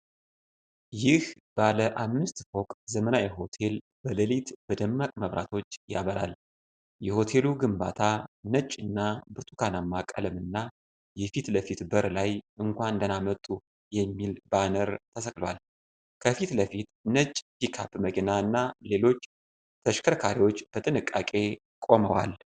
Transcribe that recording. ይህ ባለ አምስት ፎቅ ዘመናዊ ሆቴል በሌሊት በደማቅ መብራቶች ያበራል። የሆቴሉ ግንባታ ነጭና ብርቱካናማ ቀለምና፣ የፊት ለፊት በር ላይ "እንኳን ደህና መጡ!!" የሚል ባነር ተሰቅሏል። ከፊት ለፊት ነጭ ፒክአፕ መኪና እና ሌሎች ተሽከርካሪዎች በጥንቃቄ ቆመዋል።